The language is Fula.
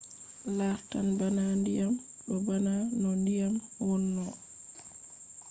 lartan bana ndiyam. ɗo bana no ndiyam wono